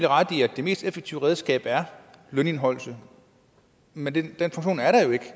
ret i at det mest effektive redskab er lønindeholdelse med den er